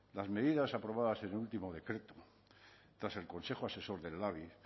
las medidas aprobadas en el último decreto tras el consejo asesor del labi